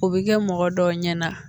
O bi kɛ mɔgɔ dɔw ɲɛna